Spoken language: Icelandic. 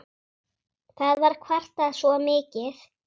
Það var kvartað svo mikið.